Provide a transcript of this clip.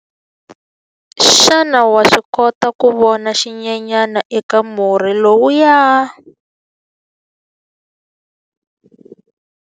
Xana wa swi kota ku vona xinyenyana eka murhi lowuya?